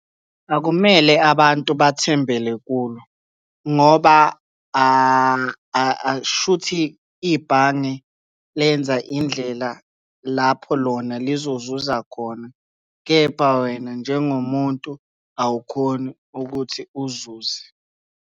Akumele abantu bathembele kulo, ngoba kusho ukuthi ibhange lenza indlela lapho lona lizozuza khona, kepha wena njengomuntu awukhoni ukuthi uzuze.